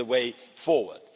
That's the way forward.